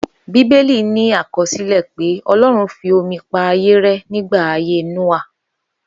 Bíbélì ní àkọsílẹ̀ pé Ọlọ́run fi omi pa ayé rẹ́ nígbà ayé Nóà